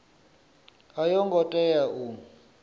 a yo ngo tea u